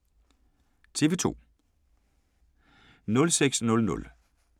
TV 2